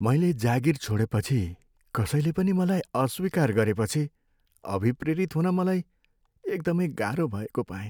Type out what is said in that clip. मैले जागिर छोडेपछि कसैले पनि मलाई अस्वीकार गरेपछि अभिप्रेरित हुन मलाई एकदमै गाह्रो भएको पाएँ।